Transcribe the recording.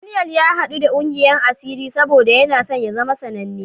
Daniyel ya haɗu da ƙungiyar asiri saboda yana so ya zama sananne.